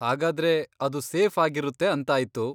ಹಾಗಾದ್ರೆ ಅದು ಸೇಫ್ ಆಗಿರುತ್ತೆ ಅಂತಾಯ್ತು.